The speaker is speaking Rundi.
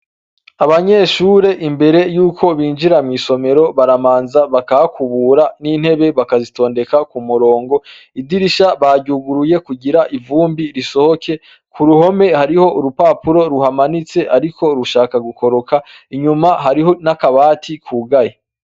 Abanyeshure imbere yuko binjira mw'isomero, baramanza bakahakubura n'intebe bakazitondeka kumurongo, Idirisha baryuguruye kugira ivumbi risohoke, ku ruhome hariho urupapuro ruhamanitse ariko rushaka gukoroka inyuma hariho n'akabati kugaye.